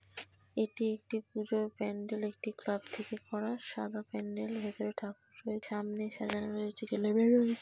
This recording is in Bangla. এটি একটি পুজোর প্যাণ্ডেল একটি ক্লাব থেকে করা। সাদা প্যাণ্ডেল ভেতরে ঠাকুর রয়েছে। সামনে সাজানো রয়েছে --